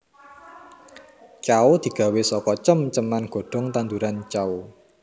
Cao digawé saka cem ceman godhong tanduran cao